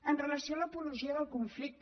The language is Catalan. amb relació a l’apologia del conflicte